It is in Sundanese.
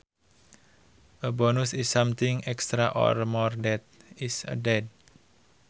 A bonus is something extra or more that is added